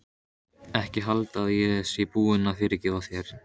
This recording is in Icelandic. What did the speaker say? Ekki halda að ég sé búin að fyrirgefa þér.